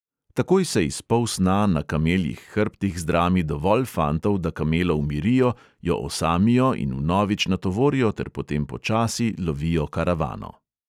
Takoj se iz polsna na kameljih hrbtih zdrami dovolj fantov, da kamelo umirijo, jo osamijo in vnovič natovorijo ter potem počasi lovijo karavano.